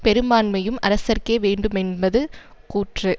பெரும்பான்மையும் அரசர்க்கே வேண்டுமென்பது கூற்று